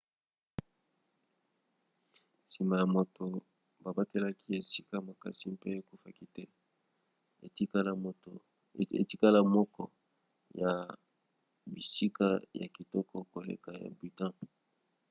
nsima ya moto babatelaki esika makasi mpe ekufaki te etikala moko ya bisika ya kitoko koleka ya bhutan